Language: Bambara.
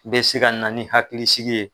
bɛ se ka na ni hakilisigi ye.